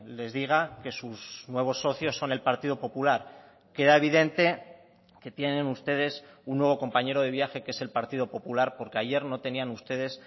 les diga que sus nuevos socios son el partido popular queda evidente que tienen ustedes un nuevo compañero de viaje que es el partido popular porque ayer no tenían ustedes